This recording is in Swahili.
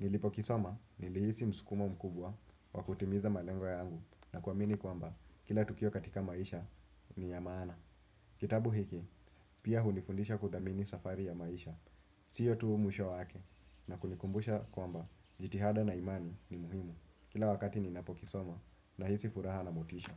Nilipokisoma, nilihisi msukumo mkubwa wa kutimiza malengo yangu na kuamini kwamba, kila tukio katika maisha ni ya maana. Kitabu hiki, pia hunifundisha kuthamini safari ya maisha. Siyo tu musho wake na kunikumbusha kwamba, jitihada na imani ni muhimu. Kila wakati ninapokisoma nahisi furaha na motisha.